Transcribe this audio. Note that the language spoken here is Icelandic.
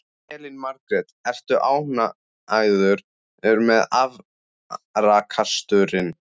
Elín Margrét: Ertu ánægður með afraksturinn?